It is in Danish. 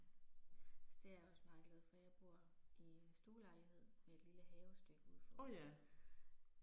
Altså det jeg også meget glad for jeg bor i stuelejlighed med et lille havestykke ude foran